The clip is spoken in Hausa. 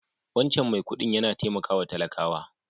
Wancan mai kuɗin yana taimakawa talakawa.